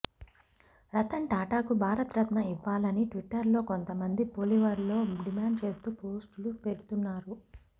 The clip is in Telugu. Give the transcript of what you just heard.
రతన్ టాటాకు భారత్ రత్న ఇవ్వాలని ట్విట్టర్లో కొంత మంది ఫాలోవర్లు డిమాండ్ చేస్తు పోస్టులు పెడుతున్నారు